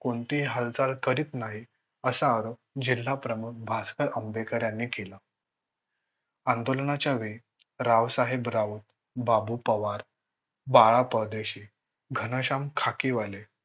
कोणतीही हालचाल करीत नाही असा आरोप जिल्हा प्रमुख भास्कर आंबेकर यांनी केला. आंदोलनाच्या वेळी राव साहेब राऊत, बाबू पवार, बाळा परदेशी घनःशाय्म खाकीवाले